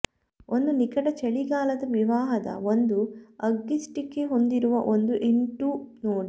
ಒಂದು ನಿಕಟ ಚಳಿಗಾಲದ ವಿವಾಹದ ಒಂದು ಅಗ್ಗಿಸ್ಟಿಕೆ ಹೊಂದಿರುವ ಒಂದು ಇನ್ಟು ನೋಡಿ